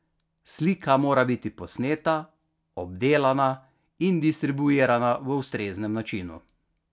Slika mora biti posneta, obdelana in distribuirana v ustreznem načinu.